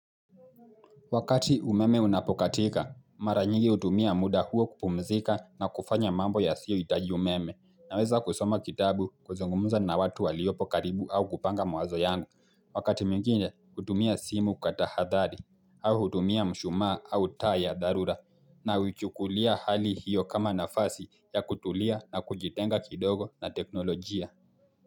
Wakati umeme unapokatika, mara nyingi hutumia muda huo kupumzika na kufanya mambo ya siyohitaji umeme, naweza kusoma kitabu kuzungumuza na watu waliopo karibu au kupanga mawazo yangu, wakati mwingine hutumia simu kwa tahadhari, au hutumia mshumaa au taa ya dharura, na huichukulia hali hiyo kama nafasi ya kutulia na kujitenga kidogo na teknolojia.